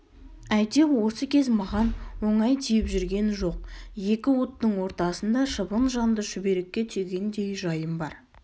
әйтеу осы кез маған оңай тиіп жүрген жоқ екі оттың ортасында шыбын жанды шүберекке түйгендей жайым бар